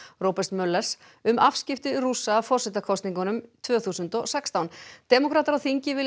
Roberts um afskipti Rússa af forsetakosningunum tvö þúsund og sextán demókratar á þingi vilja